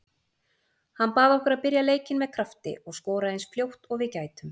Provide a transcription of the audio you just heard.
Hann bað okkur að byrja leikinn með krafti og skora eins fljótt og við gætum.